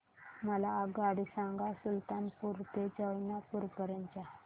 मला आगगाडी सांगा सुलतानपूर ते जौनपुर पर्यंत च्या